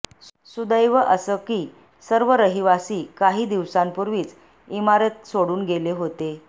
सुदैव असं की सर्व रहिवासी काही दिवसांपूर्वीच इमारत सोडून गेले होते